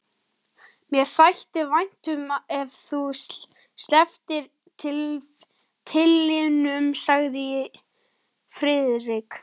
Mér þætti vænt um ef þú slepptir titlinum sagði Friðrik.